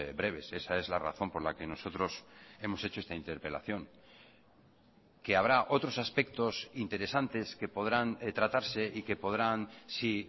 breves esa es la razón por la que nosotros hemos hecho esta interpelación que habrá otros aspectos interesantes que podrán tratarse y que podrán sí